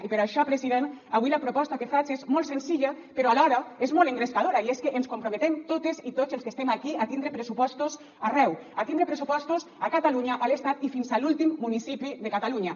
i per això president avui la proposta que faig és molt senzilla però alhora és molt engrescadora i és que ens comprometem totes i tots els que estem aquí a tindre pressupostos arreu a tindre pressupostos a catalunya a l’estat i fins a l’últim municipi de catalunya